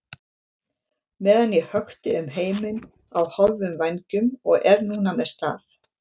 meðan ég hökti um heiminn á hálfum vængjum og er núna með staf.